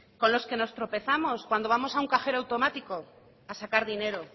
con los que nos tropezamos cuando vamos a un cajero automático a sacar dinero